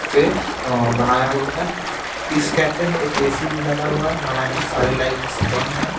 से बनाया हुआ है इस कैफे में एक ए_सी भी लगा हुआ है हालांकि सारे लाइट्स बंद हैं।